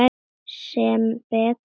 Sem betur fer?